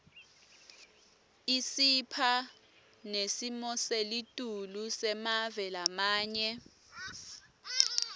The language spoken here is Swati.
isipha nesimoselitulu semave lamanye